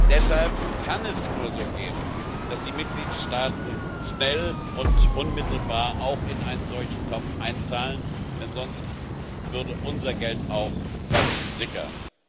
Deshalb kann es nur so gehen, dass die Mitgliedstaaten schnell und unmittelbar auch in einen solchen Topf einzahlen, denn sonst würde unser Geld auch versickern.